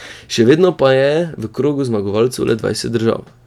Še vedno pa je v krogu zmagovalcev le dvajset držav.